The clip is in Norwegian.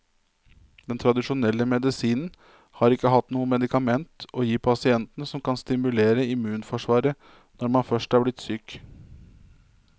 Den tradisjonelle medisinen har ikke hatt noe medikament å gi pasientene som kan stimulere immunforsvaret når man først er blitt syk.